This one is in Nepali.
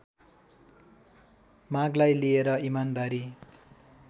मागलाई लिएर इमानदारी